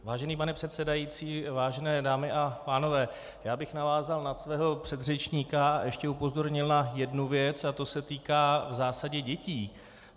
Vážený pane předsedající, vážené dámy a pánové, já bych navázal na svého předřečníka a ještě upozornil na jednu věc a to se týká v zásadě dětí.